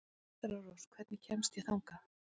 Vetrarrós, hvernig kemst ég þangað?